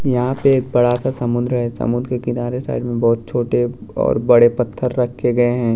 यहाँ पे एक बड़ा सा समुद्र है समुद्र के किनारे साइड में बहुत छोटे और बड़े पत्थर रखे गए हैं।